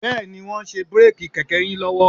Bẹ́ẹ̀ni, wọ́n ń ṣe bíréèkì kẹ̀kẹ́ yín lọ́wọ́